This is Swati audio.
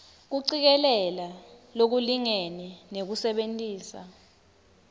kucikelela lokulingene nekusebentisa